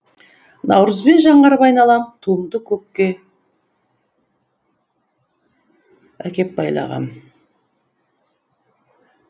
наурызбен жаңарып айналам туымды күнге әкеп байлағам